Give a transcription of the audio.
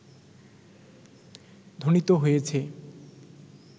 ধ্বনিত হয়েছে